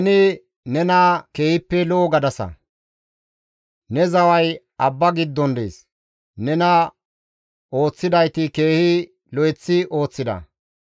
Ne zaway abba giddon dees; nena ooththidayti keehi lo7eththi ooththida.